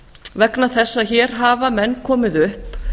vegna þess að hér hafa menn komið upp